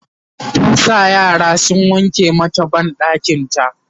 ta sa yaran sun wanke mata banɗakinta